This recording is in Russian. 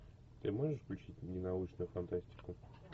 ты можешь включить мне научную фантастику